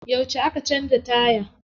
Yauce aka canza taya?